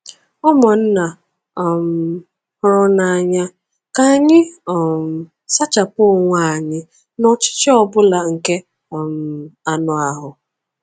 Ụmụnna um hụrụ n'anya, ka anyị um sachapụ onwe anyị n'ọchịchị ọ bụla nke um anụ ahụ.